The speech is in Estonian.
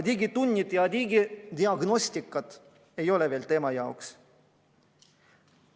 Digitunnid ja digidiagnostika ei ole veel tema jaoks.